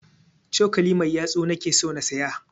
Cokali mai yatsu na ke so na siya